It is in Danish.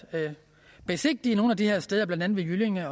besigtige de her steder blandt andet ved jyllinge